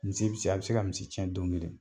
Misi bi se a bi se ka misi cɛn don kelen